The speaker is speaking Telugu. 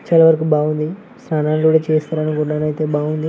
చాలా వరకు బాగుంది. స్థానాల్ గూడా చేస్తున్నారు ఊరులో అయితే బాగుంది.